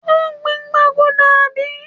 ó gbìn gbaguda, àbí?